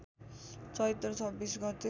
चैत्र २६ गते